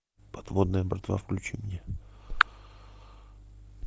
подводная братва включи мне